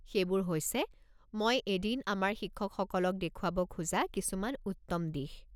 সেইবোৰ হৈছে মই এদিন আমাৰ শিক্ষকসকলক দেখুৱাব খোজা কিছুমান উত্তম দিশ।